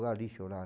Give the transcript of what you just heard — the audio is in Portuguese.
lixo lá.